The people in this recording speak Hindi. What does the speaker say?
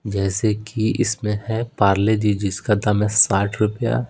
जैसे कि इसमें है पार्ले जी जिसका दाम है साठ रुपया।